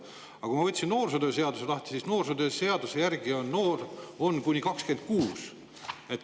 Samas ma võtsin lahti noorsootöö seaduse, selle järgi on noor kuni 26-aastane.